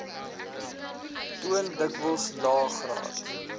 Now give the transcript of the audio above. toon dikwels laegraad